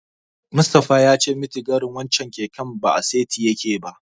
Mustapha ya ce mitigarin wancen keken ba a saiti yake ba.